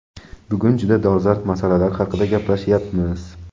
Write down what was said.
Bugun juda dolzarb masalalar haqida gaplashyapmiz.